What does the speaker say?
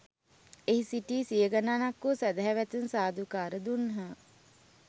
එහි සිටි සිය ගණනක් වූ සැදැහැවතුන් සාදුකාර දුන්හ.